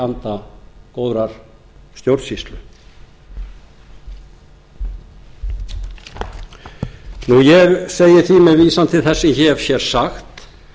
anda góðrar stjórnsýslu ég segi því með vísan til þess sem ég hef hér sagt